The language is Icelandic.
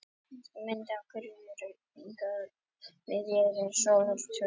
Ýkt mynd af því hvernig jörðin hreyfist miðað við sól á tveimur jafnlöngum tímabilum.